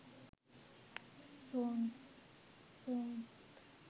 song